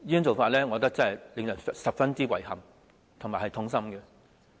這是令人感到十分遺憾和痛心的。